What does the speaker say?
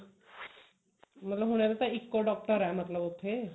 ਮਤਲਬ ਹੁਣ ਇਹਦਾ ਤਾਂ ਇੱਕੋ doctor ਐ ਮਤਲਬ ਉੱਥੇ